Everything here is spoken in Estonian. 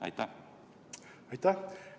Aitäh!